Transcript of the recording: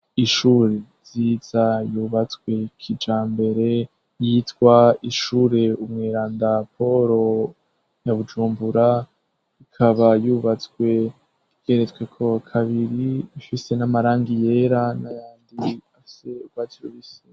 Ishure nziza yubatswe kijambere yitwa ishure umweranda Paul ya Bujumbura ikaba yubatswe igeretsweko kabiri ifise n'amarangi yera n'ayandi afise urwatsi rubisi.